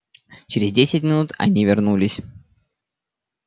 через десять минут они вернулись